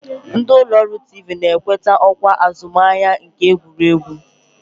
Ndị ụlọọrụ tiivii na-ewetakwa ọkwa azụmahịa nakwa nke egwuregwu